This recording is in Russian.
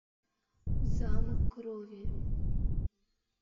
замок крови